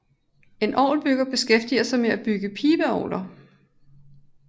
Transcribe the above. En orgelbygger beskæftiger sig med at bygge pibeorgler